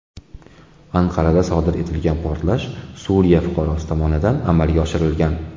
Anqarada sodir etilgan portlash Suriya fuqarosi tomonidan amalga oshirilgan.